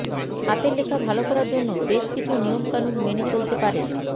হাতের লেখা ভাল করার জন্য বেশ কিছু নিয়মকানুন মেনে চলতে পারেন